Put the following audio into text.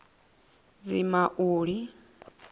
dzimauli